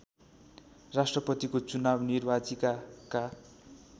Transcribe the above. राष्‍ट्रपतिको चुनाव निर्वाचिकाका